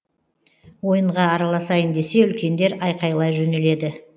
ойынға араласайын десе үлкендер айқайлай жөнеледі